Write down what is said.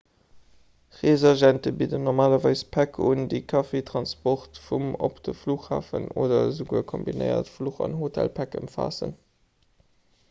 reesagente bidden normalerweis päck un déi kaffi transport vum/op de flughafen oder esouguer kombinéiert fluch- an hotelpäck ëmfaassen